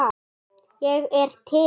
Ég er til